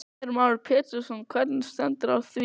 Heimir Már Pétursson: Hvernig stendur á því?